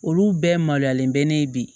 Olu bɛɛ maloyalen bɛ ne ye bi